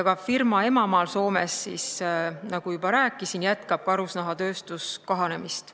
Ka firma emamaal Soomes, nagu ma juba rääkisin, jätkab karusnahatööstus kahanemist.